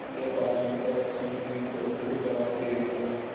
यह बात सुनकर रश्मि ने दो टूक जवाब दे दिया